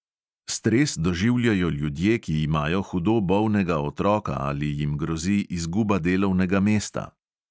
Stres doživljajo ljudje, ki imajo hudo bolnega otroka ali jim grozi izguba delovnega mesta.